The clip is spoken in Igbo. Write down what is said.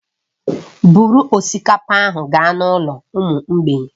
Buru osikapa ahụ gaa n'ụlọ ụmụ mgbei